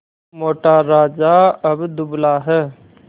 मोटा राजा अब दुबला है